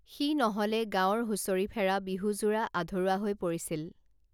সি নহলে গাঁৱৰ হুঁচৰিফেৰা বিহুযোৰা আধৰুৱা হৈ পৰিছিল